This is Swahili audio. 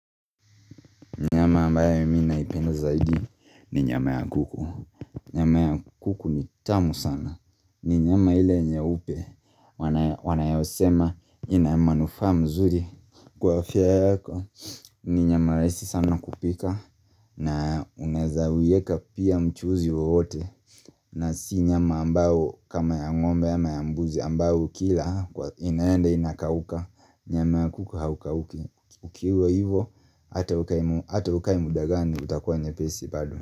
Nyama ambayo mimi naipenda zaidi ni nyama ya kuku. Nyama ya kuku ni tamu sana. Ni nyama ile nyeupe wanayosema ina manufaa mzuri. Kwa afya yako ni nyama rahisi sana kupika na unaezawieka pia mchuzi wowote. Na si nyama ambayo kama ya ng'ombe ama ya mbuzi ambayo kila inaende inakauka. Nyama ya kuku haukauki. Ukiwa hivo ata ukae muda gani utakuwa nyepesi bado.